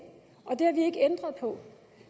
ændret på